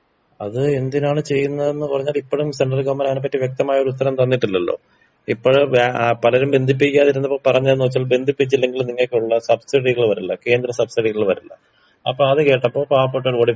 അത് എന്തിനാണ് ചെയ്യുന്നതെന്ന് പറഞ്ഞ് ഇപ്പഴും സെണ്ട്രൽ ഗവൺമെന്റ് അതിനെ പറ്റി വ്യക്തമായൊരു ഉത്തരം തന്നിട്ടില്ലല്ലൊ ഇപ്പഴ് ഏ പലരും ബന്ധിപ്പിക്കാതെ ഇരുന്നപ്പൊ പറഞ്ഞത് വെച്ചാ ബന്ധിപ്പിച്ചില്ലെങ്കിൽ നിങ്ങക്കുള്ള സബ്സീഡികൾ വരില്ല കേന്ദ്ര സബ്സീഡികൾ വരില്ല അപ്പത് കേട്ടപ്പൊ പാവപ്പെട്ടവര് ഓടിപ്പോയി.